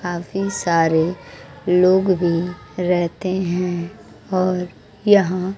काफी सारे लोग भी रेहते हैं और यहां--